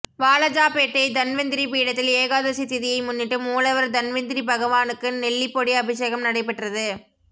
வாலாஜாபேட்டை தன்வந்திரி பீடத்தில் ஏகாதசி திதியை முன்னிட்டு மூலவர் தன்வந்திரி பகவானுக்கு நெல்லிபொடி அபிஷேகம் நடைபெற்றது